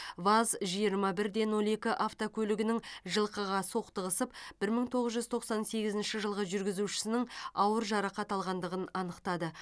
ваз жиырма бір де нөл екі автокөлігінің жылқыға соқтығысып бір мың тоғыз жүз тоқсан сегізінші жылғы жүргізушісінің ауыр жарақат алғандығын анықтады